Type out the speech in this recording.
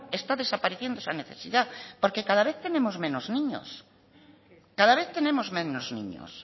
está desapareciendo esa necesidad porque cada vez tenemos menos niños cada vez tenemos menos niños